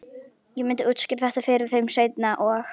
Ég myndi útskýra þetta fyrir þeim seinna- og